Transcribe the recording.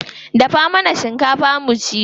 Dafa mana shinkafa mu ci.